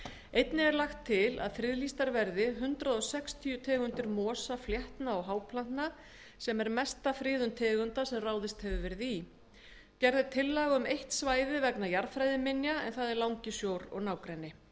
einnig er lagt til að friðlýstar verði hundrað sextíu tegundir mosa fléttna og háplantna sem er mesta friðun tegunda sem ráðist hefur verið í eitt svæði er sérstaklega friðað vegna jarðfræði en það er langisjór og nágrenni